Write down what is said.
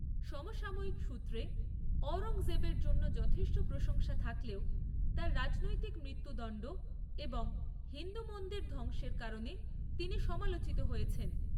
সমসাময়িক সূত্রে অওরঙ্গজেবের জন্য যথেষ্ট প্রশংসা থাকলেও, তার রাজনৈতিক মৃত্যুদণ্ড এবং হিন্দু মন্দির ধ্বংসের কারণে তিনি সমালোচিত হয়েছেন।